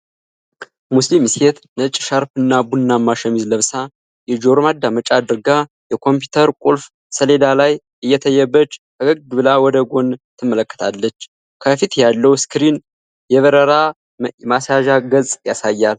ሙስሊም ሴት ነጭ ሻርፕና ቡናማ ሸሚዝ ለብሳ፣ የጆሮ ማዳመጫ አድርጋ የኮምፒውተር ቁልፍ ሰሌዳ ላይ እየተየበች ፈገግ ብላ ወደ ጎን ትመለከታለች። ከፊት ያለው ስክሪን የበረራ ማስያዣ ገጽ ያሳያል።